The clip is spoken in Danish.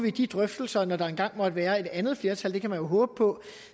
i de drøftelser når der engang måtte være et andet flertal det kan man jo håbe på